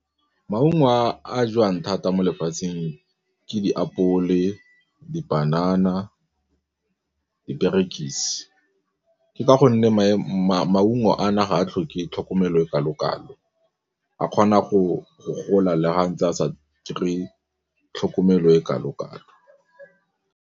Maungo a jewang thata mo lefatsheng ke ditapole, dipanana, diperekisi. Ke ka gonne maungo a na ga a tlhoke tlhokomelo e kalo-kalo a kgona go gola le ga ntse a sa kry-e tlhokomelo e kalo-kalo.